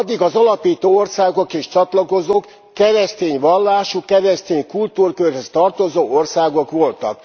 Addig az alapító országok és a csatlakozók keresztény vallású, keresztény kultúrkörhöz tartozó országok voltak.